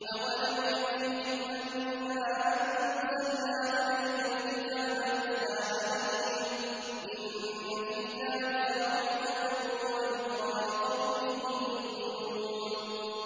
أَوَلَمْ يَكْفِهِمْ أَنَّا أَنزَلْنَا عَلَيْكَ الْكِتَابَ يُتْلَىٰ عَلَيْهِمْ ۚ إِنَّ فِي ذَٰلِكَ لَرَحْمَةً وَذِكْرَىٰ لِقَوْمٍ يُؤْمِنُونَ